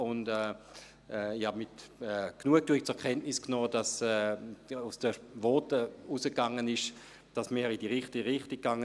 Ich habe mit Genugtuung zur Kenntnis genommen, dass aus den Voten hervorging, dass wir mit diesem Bericht in die richtige Richtung gingen.